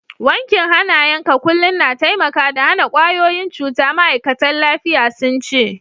Wankin hanayen ka kullum na taimaka da hana kwayoyin cuta, ma'aikatan lafiya sun ce.